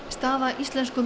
staða íslensku